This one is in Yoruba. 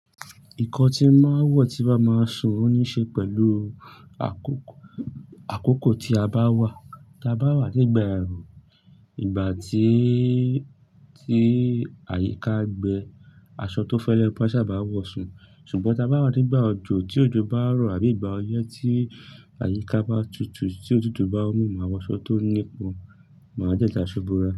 Nkan tí máa wọ̀ tí bá máa ṣùn ní ṣe pẹ̀lú àkókò, àkókò tí a bá wà. Tí a bá wà nígbà ẹrun, ìgbà tí, tí àyíká gbe, aṣọ tó fẹ́lẹ́ mo maa n sabá wọ̀ ṣùn. Ṣùgbọ́n tí a bá wà nígbà òjò, tí òjò bá rọ̀ àbí ìgbà ọyẹ́ tí àyíká bá tutù, tí òtútù bá mú, máa wọ aṣọ tó ní ipọn, máa dẹ da aṣọ bora.